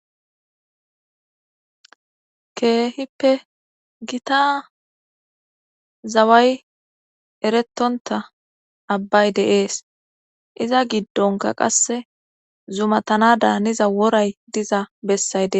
Keehippe gita zaway eretonta abbay de'ees iza giddonka qasse zumatana daaniza woray diza bessay de.